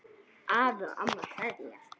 Afi og amma kveðja